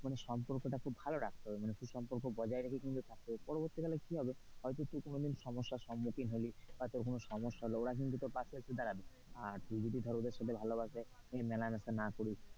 মানে সম্পর্কটা কিন্তু খুব ভালো রাখতে হবে সুসম্পর্ক বজায় রাখে কিন্তু থাকতে হবে পরবর্তীকালে হয়তো তুই সমস্যার সম্মুখীন হলি বা তোর কোন সমস্যা হলো ওরা কিন্তু তোর পাশেএসে দাঁড়াবে। আর তুই যদি ধর ওদের সাথে ভালোভাবে মেলামেশা না করিস,